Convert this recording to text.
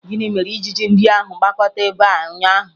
Gịnị mere ijiji ndị ahụ gbakọta ebe a ụnyaahụ?